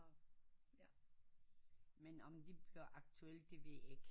Men om det bliver aktuelt det ved jeg ikke